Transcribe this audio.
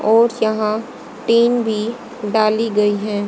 और यहां टीन भी डाली गई हैं।